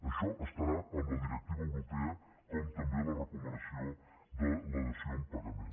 això estarà en la directiva europea com també la recomanació de la dació en pagament